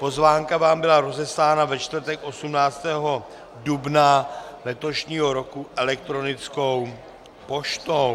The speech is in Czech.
Pozvánka vám byla rozeslána ve čtvrtek 18. dubna letošního roku elektronickou poštou.